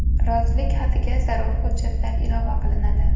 Rozilik xatiga zarur hujjatlar ilova qilinadi.